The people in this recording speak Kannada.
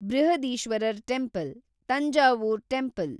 Brihadeeswarar temple, Thanjavur temple